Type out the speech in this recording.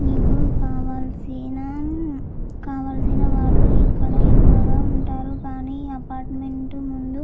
మీకు కావాల్సిన కావాల్సిన వాళ్ళు ఇక్కడ ఎక్కువగా ఉంటారు. కానీ అపార్ట్మెంటు ముందు--